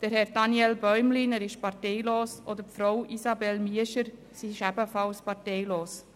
Herr Daniel Bäumlin, parteilos, und Frau Isabelle Miescher, ebenfalls parteilos.